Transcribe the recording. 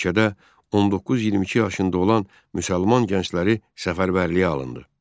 Ölkədə 19-22 yaşında olan müsəlman gəncləri səfərbərliyə alındı.